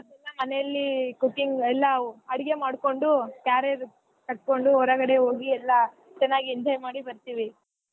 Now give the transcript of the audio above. ಅವತ್ ನಮ್ ಮನೇಲಿ cooking ಎಲ್ಲಾ ಅಡ್ಗೆ ಮಾಡ್ಕೊಂಡು carrier ಕಟ್ಕೊಂಡು ಹೊರಗಡೆ ಹೋಗಿ ಎಲ್ಲಾ ಚನಾಗಿ enjoy ಮಾಡಿ ಬರ್ತೀವಿ